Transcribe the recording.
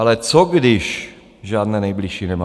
Ale co když žádné nejbližší nemá?